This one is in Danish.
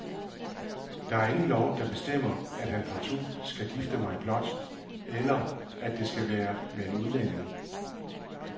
Der er ingen lov, der bestemmer, at han partout skal gifte mig blåt, eller at det skal være med en udlænding.